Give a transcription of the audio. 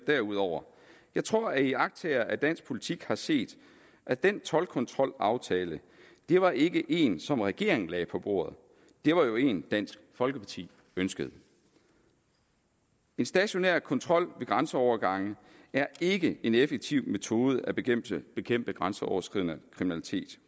derudover jeg tror at iagttagere af dansk politik har set at den toldkontrolaftale det var ikke én som regeringen lagde på bordet det var jo én dansk folkeparti ønskede en stationær kontrol ved grænseovergange er ikke en effektiv metode at bekæmpe bekæmpe grænseoverskridende kriminalitet